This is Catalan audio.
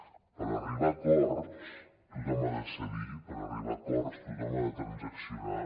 per arribar a acords tothom ha de cedir per arribar a acords tothom ha de transaccionar